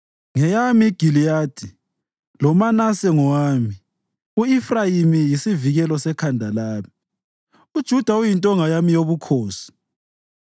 Ngeyami iGiliyadi, loManase ngowami; u-Efrayimi yisivikelo sekhanda lami, uJuda uyintonga yami yobukhosi.